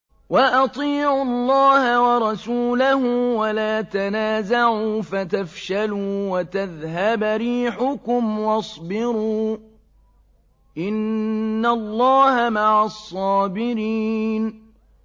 وَأَطِيعُوا اللَّهَ وَرَسُولَهُ وَلَا تَنَازَعُوا فَتَفْشَلُوا وَتَذْهَبَ رِيحُكُمْ ۖ وَاصْبِرُوا ۚ إِنَّ اللَّهَ مَعَ الصَّابِرِينَ